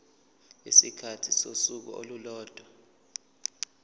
isikhathi sosuku olulodwa